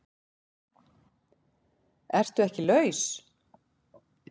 ERTU EKKI LAUS?